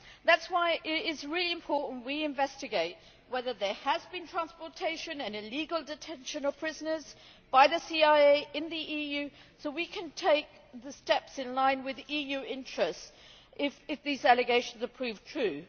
That is why it is really important we investigate whether there has been transportation and illegal detention of prisoners by the CIA in the EU so we can take the steps in line with EU interests if these allegations are proved true.